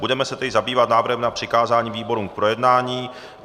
Budeme se tedy zabývat návrhem na přikázání výborům k projednání.